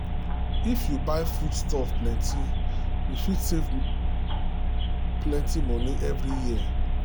if you buy foodstuff plenty you fit save plenty money every year.